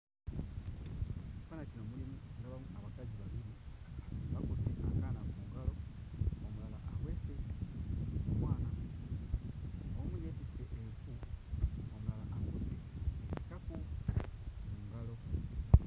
Ekifaananyi kino mulimu ndabamu abakazi babiri bakutte akaana ku ngalo, omulala aweese omwana omu yeetisse enku omulala akutte taku mu ngalo.